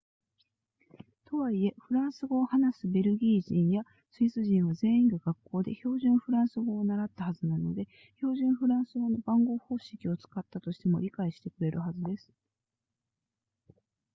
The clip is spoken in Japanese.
とはいえフランス語を話すベルギー人やスイス人は全員が学校で標準フランス語を習ったはずなので標準フランス語の番号方式を使ったとしても理解してくれるはずです